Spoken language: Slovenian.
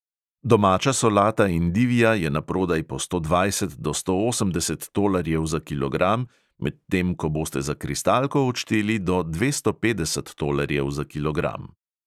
Domača solata endivija je naprodaj po sto dvajset do sto osemdeset tolarjev za kilogram, medtem ko boste za kristalko odšteli do dvesto petdeset tolarjev za kilogram.